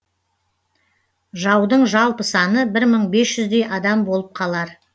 жаудың жалпы саны бір мың бес жүздей адам болып қалар